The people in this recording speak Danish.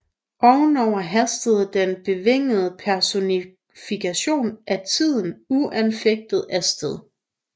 Ovenover haster den bevingede personifikation af tiden uanfægtet af sted